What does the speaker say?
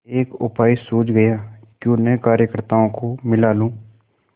एक उपाय सूझ गयाक्यों न कार्यकर्त्ताओं को मिला लूँ